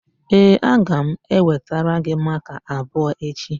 Ee, aga m ewetara gị makaa abụọ echi.